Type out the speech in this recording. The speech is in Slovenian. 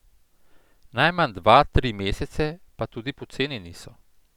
Najmanj dva, tri mesece, pa tudi poceni niso.